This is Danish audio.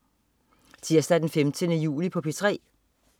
Tirsdag den 15. juli - P3: